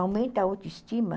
Aumenta a autoestima.